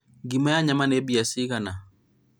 ngima na nyama nĩ mbia cigana?